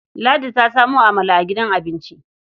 Ladi ta samo amala a gidan abinci.